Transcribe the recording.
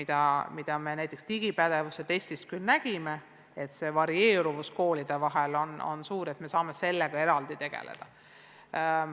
Nägime näiteks digipädevuse testist, et varieeruvus koolide vahel on suur, ja sellega peame eraldi tegelema.